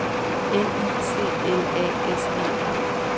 N I C L A S E N